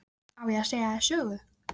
Á ég að segja þér sögu?